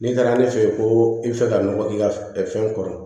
N'i taara ne fɛ yen ko i bɛ fɛ ka nɔgɔ k'i ka fɛn kɔrɔ